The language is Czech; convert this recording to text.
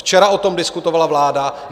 Včera o tom diskutovala vláda.